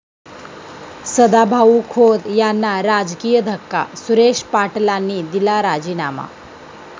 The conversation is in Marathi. सदाभाऊ खोत यांना राजकीय धक्का, सुरेश पाटलांनी दिला राजीनामा